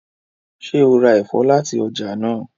ṣe rá èfó láti ọjà náa?